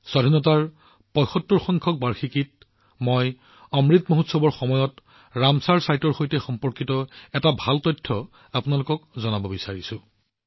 অমৃত মহোৎসৱৰ সময়ত স্বাধীনতাৰ ৭৫ বছৰত মই ৰামচৰ স্থানৰ সৈতে সম্পৰ্কিত কিছুমান ভাল তথ্য আপোনালোকৰ সৈতে ভাগবতৰা কৰিব বিচাৰো